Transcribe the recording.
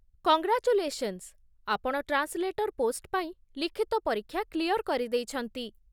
Congratulations! ଆପଣ translator post ପାଇଁ ଲିଖିତ ପରୀକ୍ଷା କ୍ଲିୟର୍ କରିଦେଇଛନ୍ତି ।